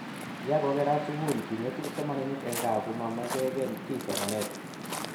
ya ko kerat sukul king'etu kipsomaninik eng' gaa ku ma meken kiy somanet